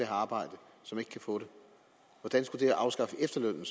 arbejde og som ikke kan få det hvordan skulle det at afskaffe efterlønnen